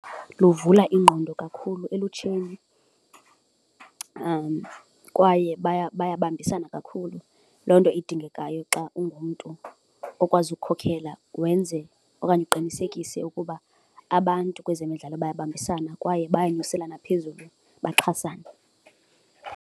Luvula ingqondo kakhulu elutsheni kwaye bayabambisana kakhulu, loo nto idingekayo xa ungumntu okwazi ukukhokhela wenze okanye uqinisekise ukuba abantu kwezemidlalo bayabambisana kwaye bayanyuselana phezulu baxhasane.